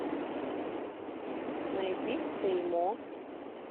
найди сэй мо